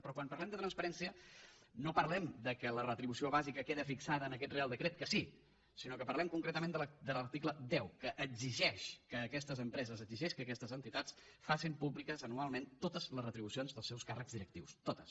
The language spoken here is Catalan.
però quan parlem de transparència no parlem que la retribució bàsica queda fixada en aquest reial decret que sí sinó que parlem concretament de l’article deu que exigeix que aquestes empreses exigeix que aquestes entitats facin públiques anualment totes les retribucions dels seus càrrecs directius totes